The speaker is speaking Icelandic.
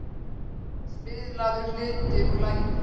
Spilaður hluti úr laginu.